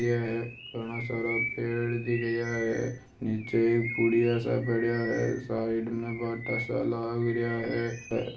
यह घना सारा पेड़ दिख रिया है नीचे पुडिया सा पड़या है साइड में भाटा सा लाग रिया है है।